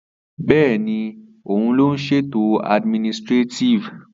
Êàê ó ìåíÿ íåò íè÷òî íè÷òî íå ìîãó.